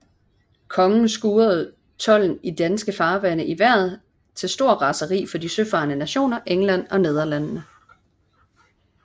Kongen skruede tolden i de danske farvande i vejret til stort raseri for de søfarende nationer England og Nederlandene